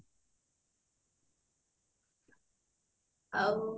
ଆଉ